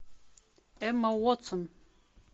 эмма уотсон